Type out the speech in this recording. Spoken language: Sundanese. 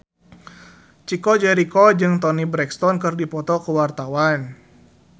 Chico Jericho jeung Toni Brexton keur dipoto ku wartawan